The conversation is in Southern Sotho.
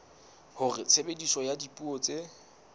hore tshebediso ya dipuo tse